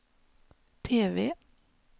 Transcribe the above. TV